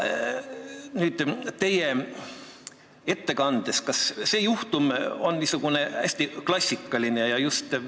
Teie ettekande põhjal küsin: kas see juhtum on niisugune hästi klassikaline?